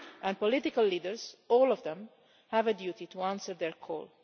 And political leaders, all of them, have a duty to answer their call.